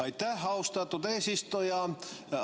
Aitäh, austatud eesistuja!